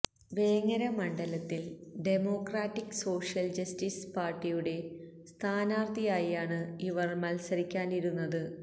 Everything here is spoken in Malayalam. വേങ്ങര മണ്ഡലത്തിൽ ഡെമോക്രാറ്റിക് സോഷ്യൽ ജസ്റ്റിസ് പാർട്ടിയുടെ സ്ഥാനാർത്ഥിയായിയാണ് ഇവർ മത്സരിക്കാനിരുന്നത്